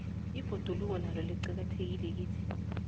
ibhoduloko nalo liqakathekile kithi